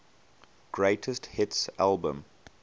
greatest hits album